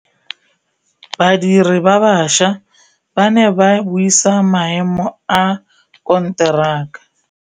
Badiri ba baša ba ne ba buisa maêmô a konteraka.